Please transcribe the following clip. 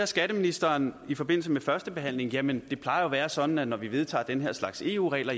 skatteministeren i forbindelse med førstebehandlingen jamen det plejer jo at være sådan når vi vedtager den her slags eu regler